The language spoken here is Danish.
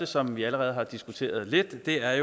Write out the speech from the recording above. som vi allerede har diskuteret lidt er